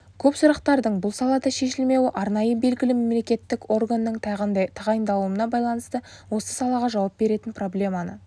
көп сұрақтардың бұл салада шешілмеуі арнайы белгілі мемлекеттік органның тағайындалмағандығына байланысты осы салаға жауап беретін проблеманы